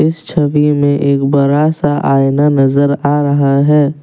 इस छवि में एक बड़ा सा आईना नजर आ रहा है।